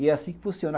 E é assim que funciona.